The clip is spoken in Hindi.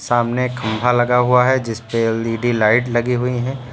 सामने एक खंबा लगा हुआ है जिसपे एल_ई_डी लाइट लगीं हुईं है।